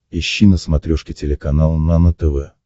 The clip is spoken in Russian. ищи на смотрешке телеканал нано тв